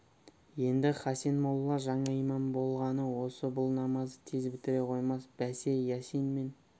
енді хасен молла жаңа имам болғаны осы бұл намазды тез бітіре қоймас бәсе ясин мен